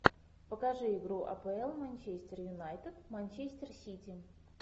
покажи игру апл манчестер юнайтед манчестер сити